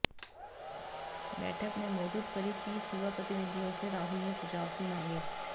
बैठक में मौजूद करीब तीस युवा प्रतिनिधियों से राहुल ने सुझाव भी मांगे